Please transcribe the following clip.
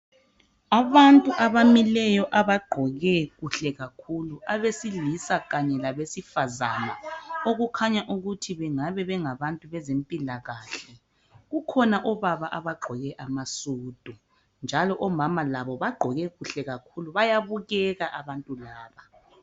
Abantu abamileyo abagqoke kahle kakhulu abesilisa kanye labesifazana, kukhanya ukuthi bengabe bezempilakahle, kukhona obaba abagqoke amasudu omama labo bagqoke kahle kakhulu, bayabukeka abantu laba.